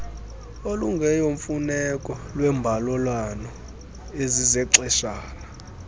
okungeyomfuneko lweembalelwano ezizexeshana